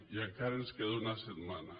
i encara ens queda una setmana